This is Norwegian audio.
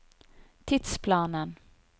tidsplanen